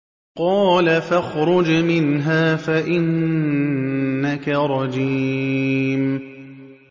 قَالَ فَاخْرُجْ مِنْهَا فَإِنَّكَ رَجِيمٌ